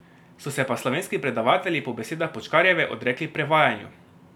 So se pa slovenski predavatelji po besedah Počkarjeve odrekli prevajanju.